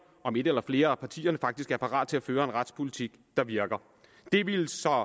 om et eller flere af partierne faktisk er parate til at føre en retspolitik der virker det ville så